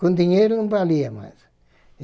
Com dinheiro não valia mais.